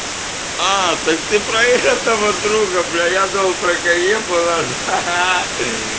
аа так ты про этого друга бля я думал про каефа наше ха-ха